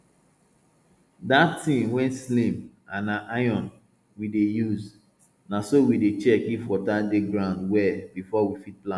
that thing wey slim and na iron we dey use na so we dey check if water dey ground well before we fit plant